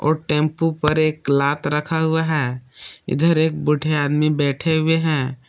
Tempo पर एक लात रखा हुआ है इधर एक बुड्ढे आदमी बैठे हुए हैं।